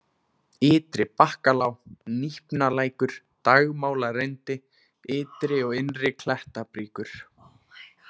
Ytri-Bakkalág, Nípnalækur, Dagmálarindi, Ytri- og Innri Klettabríkur